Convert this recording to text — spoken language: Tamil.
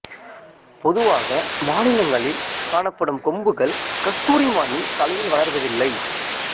பொதுவாக மானினங்களில் காணப்படும் கொம்புகள் கஸ்தூரி மானின் தலையில் வளர்வதில்லை